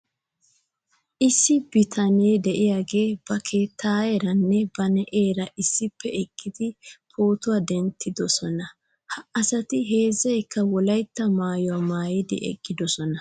Issi bitanee de'iyaagee ba keettayeeranne ba na'eera issippe eqqidi pootuwaa denttidosona . He asati heezzaykka wolaytta maayuwaa maayidi eqqidosona .